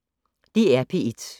DR P1